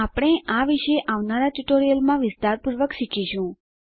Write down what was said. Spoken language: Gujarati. આપણે આ વિશે આવનારા ટ્યુટોરીયલોમાં વિસ્તારપૂર્વક શીખીશું